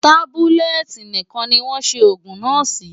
Tábúlẹ̀tì nìkan ni wọ́n ṣe òògùn náà sí.